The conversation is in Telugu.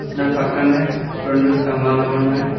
దాని పక్కనే రొండు స్తంభాలు ఉన్నాయి.